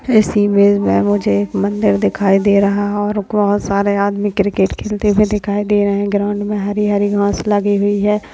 इस इमेज में मुझे एक मंदिर दिखाई दे रहा है और बहोत सारे आदमी क्रिकेट खेलते हुए दिखाई दे रहे हैं ग्राउंड में हरी हरी घास लगी हुई है।